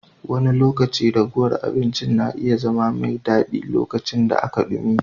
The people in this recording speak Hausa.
Wani lokaci ragowar abincin na iya zama mai daɗi, lokacin da aka dumi.